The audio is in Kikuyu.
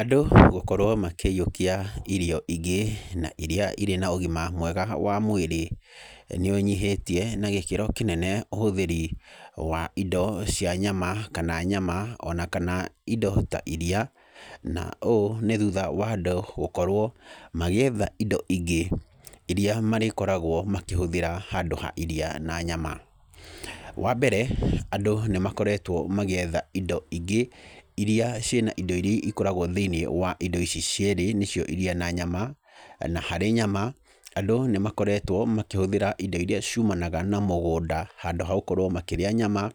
Andũ gũkorwo makĩyũikia irio ingĩ na iria irĩ na ũgima mwega wa mwĩrĩ nĩ ũnyihĩtie na gĩkĩro kĩnene ũhũthĩri wa indo cia nyama, kana nyama o na kana indo ta iria, na ũũ nĩ thutha wa andũ gũkorwo magĩetha indo ingĩ iria marĩkoragwo makĩhũthĩra handũ ha iria na nyama. Wa mbere, andũ nĩ makoretwo magĩetha indo ingĩ iria ciĩna indo iria ikoragwo thĩiniĩ wa indo ici cierĩ nĩcio iria na nyama na harĩ nyama, andũ nĩ makoretwo makĩhũthĩra indo iria ciumanaga na mũgũnda, handũ ha gũkorwo makĩrĩa nyama,